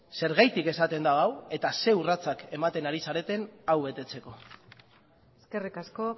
zergatik esaten du hau eta ze urratsak ematen ari zareten hau betetzeko eskerrik asko